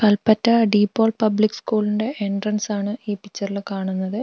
Kalpetta de Paul public സ്കൂളിന്റെ entrance ആണ് ഈ പിക്ചറിൽ കാണുന്നത്.